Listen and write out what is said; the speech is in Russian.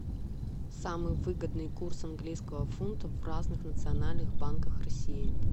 самый выгодный курс английского фунта в разных национальных банках россии